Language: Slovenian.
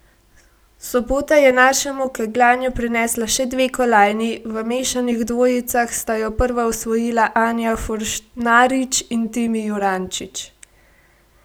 Sobota je našemu kegljanju prinesla še dve kolajni, v mešanih dvojicah sta jo prva osvojila Anja Forštnarič in Timi Jurančič.